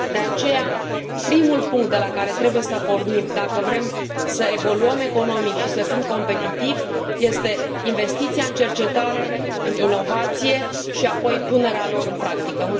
De aceea, primul punct de la care trebuie să pornim, dacă vrem să evoluăm economic și să fim competitivi, este investiția în cercetare, în inovație și, apoi, punerea lor în practică.